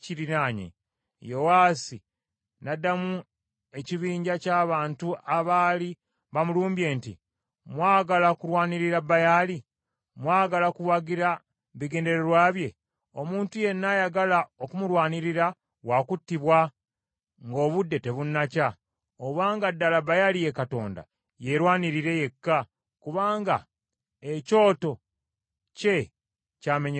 Yowaasi n’addamu ekibinja ky’abantu abaali bamulumbye nti, “Mwagala kulwanirira Baali? Mwagala kuwagira bigendererwa bye? Omuntu yenna ayagala okumulwanirira wa kuttibwa nga obudde tebunakya; obanga ddala Baali ye Katonda, yerwanirire yekka, kubanga ekyoto kye kyamenyeddwamenyeddwa.”